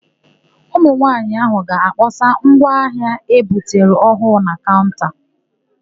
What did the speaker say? Ụmụnwaanyị áhụ̀ ga-akpọsa ngwa ahịa e butere ọhụụ na kaụnta.